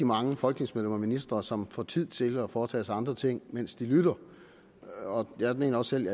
mange folketingsmedlemmer og ministre som får tid til at foretage sig andre ting mens de lytter og jeg mener selv